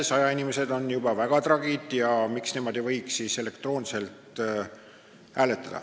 Sajainimesed on juba väga tragid ja miks nemad ei võiks siis elektroonselt hääletada.